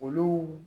Olu